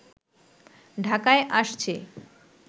ঢাকায় আসছে